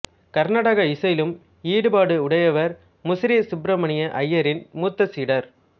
கர்நாடக இசையிலும் ஈடுபாடு உடையவர் முசிறி சுப்ரமணிய அய்யரின் மூத்த சீடர்